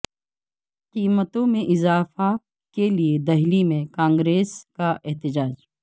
قیمتوں میں اضافہ کے لئے دہلی میں کانگریس کا احتجاج